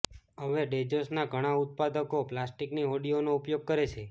હવે ડૅજેસના ઘણા ઉત્પાદકો પ્લાસ્ટિકની હોડીઓનો ઉપયોગ કરે છે